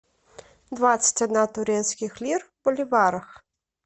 двадцать одна турецких лир в боливарах